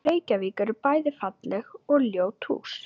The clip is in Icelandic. Í Reykjavík eru bæði falleg og ljót hús.